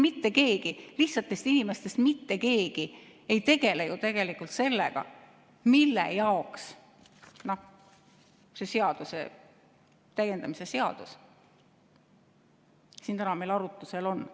Mitte keegi meist, lihtsatest inimestest ei tegele ju tegelikult sellega, mille jaoks see seaduse täiendamise seaduse eelnõu siin täna meil arutlusel on.